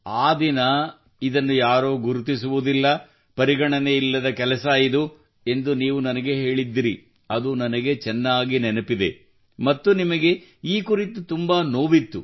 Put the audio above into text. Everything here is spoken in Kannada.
ಆ ದಿನ ಇದನ್ನು ಯಾರೂ ಗುರುತಿಸುವುದಿಲ್ಲ ಪರಿಗಣನೆ ಇಲ್ಲದ ಕೆಲಸ ಇದು ಎಂದು ನೀವು ನನಗೆ ಹೇಳಿದ್ದಿರಿ ಅದು ನನಗೆ ಚೆನ್ನಾಗಿ ನೆನಪಿದೆ ಮತ್ತು ನಿಮಗೆ ಈ ಕುರಿತು ತುಂಬಾ ನೋವಿತ್ತು